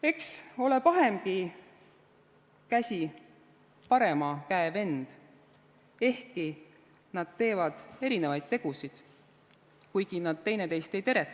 "Eks ole pahemgi käsi parema käe vend / Ehkki nad teevad erinevaid tegusid, / Kuigi nad teineteist ei teretagi.